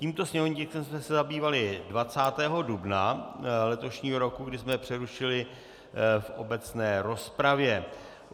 Tímto sněmovním tiskem jsme se zabývali 20. dubna letošního roku, kdy jsme přerušili v obecné rozpravě.